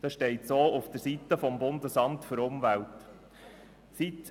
Das steht so auf der Website des Bundesamts für Umwelt (BAFU).